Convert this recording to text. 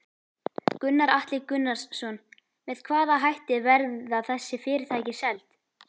Gunnar Atli Gunnarsson: Með hvaða hætti verða þessi fyrirtæki seld?